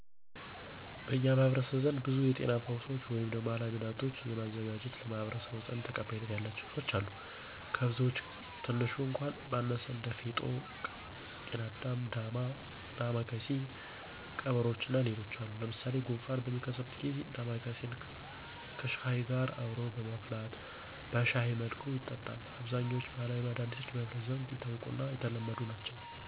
በኛ ማህበረሰብ ዘንድ ብዙ የጤና ፈውሶች ወይም ባህላዊ መዳህኒቶችን በማዘጋጀት ለማህበረሰቡ ዘንድ ተቀባይነት ያላቸው ሰወች አሉ። ከብዙወች ቀትንሹ እኳ ባነሳ እንደ ፌጦ፣ ቅናዳም፣ ዳማ ከስይ ቀበሮቾ እና ሌሎችም አሉ። ለምሳሌ፣ ጉንፋን በሚከሰትበት ጊዚ ዳማከስይን ከሽሀይ ጋር አብሮ በማፍላት በሸሀይ መልኩ ይጠጣል። አብዛኛወች ባህላዊ መዳኒቶች በህብረተሰቡ ዘንድ የታወቁና የተለመዱ ናቸው።